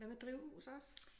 Hvad med drivhus også?